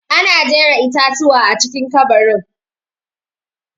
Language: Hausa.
Ana jera itatuwa a cikin ƙabarin.